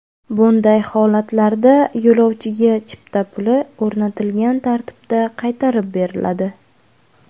Bunday holatlarda yo‘lovchiga chipta puli o‘rnatilgan tartibda qaytarib beriladi.